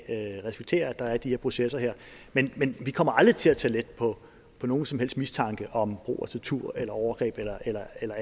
og respektere at der er de her processer men men vi kommer aldrig til at tage let på nogen som helst mistanke om brug af tortur eller overgreb eller